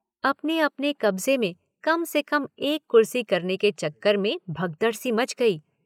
अपने अपने कब्ज़े में कम से कम एक कुर्सी करने के चक्कर में भगदड़ सी मच गई।